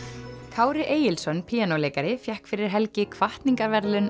Kári Egilsson píanóleikari fékk fyrir helgi hvatningarverðlaun